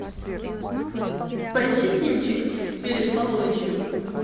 поищи кинчик перед полуночью